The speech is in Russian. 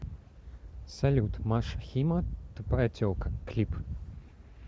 салют маша хима тупая телка клип